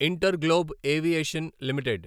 inter globe Aviation limited